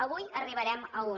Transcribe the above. avui arribarem a un